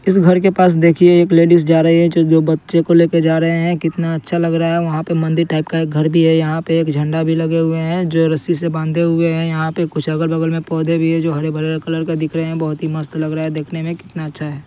इस घर के पास देखिए एक लेडिज जा रही है जो दो बच्चे को लेकर जा रहे है। कितना अच्छा लग रहा है। वहां पर मन्दिर टाइप का एक घर भी है। यहां पे एक झंडा ही लगे हुए है जो रस्सी से बांधे हुए है। यहां पे कुछ अगल-बगल में पौधे भी है जो हरे-भरे कलर के दिख रहे है। बहुत ही मस्त लग रहा है देखने में कितना अच्छा है।